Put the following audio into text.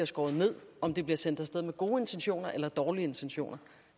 skåret ned om de bliver sendt af sted med gode intentioner eller dårlige intentioner